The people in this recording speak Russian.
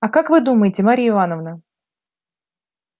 а как вы думаете марья ивановна